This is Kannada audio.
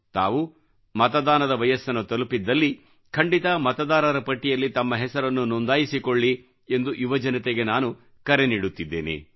ತಾವು ಮತದಾನದ ವಯಸ್ಸನ್ನು ತಲುಪಿದ್ದಲ್ಲಿ ಖಂಡಿತ ಮತದಾರರ ಪಟ್ಟಿಯಲ್ಲಿ ತಮ್ಮ ಹೆಸರನ್ನು ನೊಂದಾಯಿಸಿಕೊಳ್ಳಿ ಎಂದು ಯುವಜನತೆಗೆ ನಾನು ಕರೆ ನೀಡುತ್ತಿದ್ದೇನೆ